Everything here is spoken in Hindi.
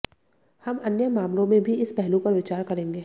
हम अन्य मामलों में भी इस पहलू पर विचार करेंगे